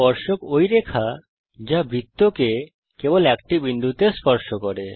স্পর্শক ওই রেখা যা বৃত্তকে কেবল একটি বিন্দুতে স্পর্শ করে